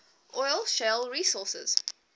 oil shale resources